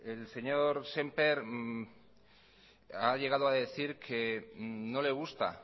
el señor sémper ha llegado a decir que no le gusta